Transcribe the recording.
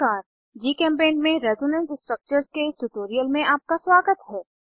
जीचेम्पेंट में resonance structures के इस ट्यूटोरियल में आपका स्वागत है